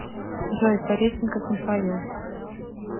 джой пареченков михаил